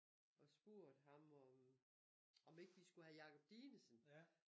Og spurgt ham om om ikke vi skulle have Jacob Dinesen